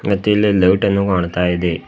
ಮತ್ತೆ ಇಲ್ಲಿ ಲೈಟ್ ಅನ್ನು ಕಾಣ್ತಾ ಇದೆ.